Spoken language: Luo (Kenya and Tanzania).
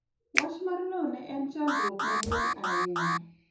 Wacha mar lowo ne en chandruok maduong' ahinya